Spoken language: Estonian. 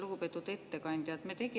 Lugupeetud ettekandja!